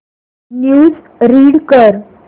news read कर